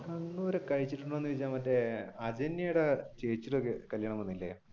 കണ്ണൂർ കഴിച്ചിട്ടുണ്ടോ എന്ന് ചോദിച്ചാൽ മറ്റേ ചേച്ചിയുടെ കല്യാണം വന്നില്ലേ?